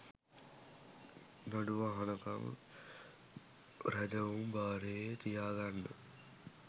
නඩුව අහනකම් රැදවුම් භාරයේ තියාගන්න